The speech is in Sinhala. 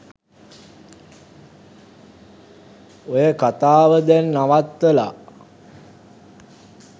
'ඔය කතාව දැං නවත්තලා